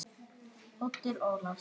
Oddur Ólason.